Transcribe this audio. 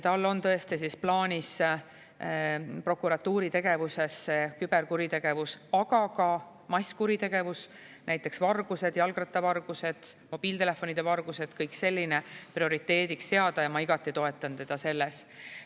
Tal on tõesti plaanis prokuratuuri tegevuses küberkuritegevus, aga ka masskuritegevus – näiteks vargused, jalgrattavargused, mobiiltelefonide vargused, kõik selline – prioriteediks seada ja ma igati toetan teda selles.